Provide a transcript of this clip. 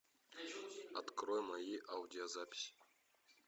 открой мои аудиозаписи